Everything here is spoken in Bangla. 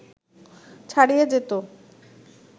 ছাড়িয়ে যেত